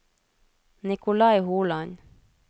Nicolai Holand